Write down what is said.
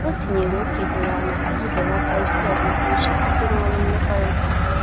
O tinyere ókè doro anya iji belata ike ọgwụgwụ uche site na ọrụ mmekọrịta.